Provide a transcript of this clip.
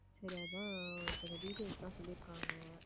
சரி அதான் கொஞ்சம் details லாம் சொல்லி இருக்காங்க